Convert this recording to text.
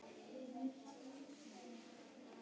Önnur prentun.